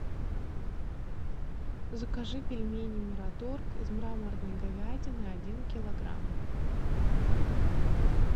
закажи пельмени мираторг из мраморной говядины один килограмм